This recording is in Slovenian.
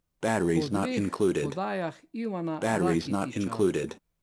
Po dveh podajah Ivana Rakitića.